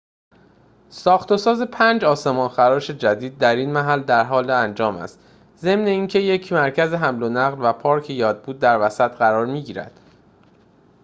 ساخت‌وساز پنج آسمان‌خراش جدید در این محل درحال انجام است ضمن اینکه یک مرکز حمل‌ونقل و پارک یادبود در وسط قرار می‌گیرد